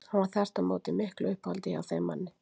Hann var þvert á móti í miklu uppáhaldi hjá þeim manni.